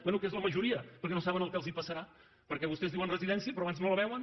bé que és la majoria perquè no saben el que els passarà perquè vostès diuen residència però abans no la veuen